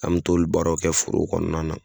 An be t'o baara nunnu kɛ foro kɔnɔna na